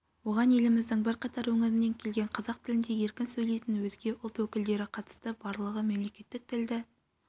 оған еліміздің бірқатар өңірінен келген қазақ тілінде еркін сөйлейтін өзге ұлт өкілдері қатысты барлығы мемлекеттік тілді